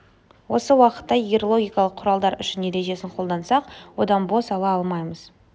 осы уақытта егер логикалық құралдар үшін ережесін қолдансақ онда бос ала алмаймыз